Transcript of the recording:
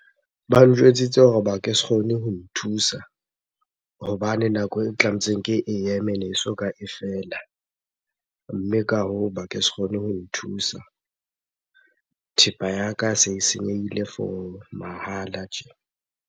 Ba njwetsitse hore ba ke se kgone ho nthusa hobane nako e tlametseng ke e eme leso ka e fela. Mme ka hoo ba ke se kgone ho nthusa, thepa ya ka se e senyehile for mahala tje.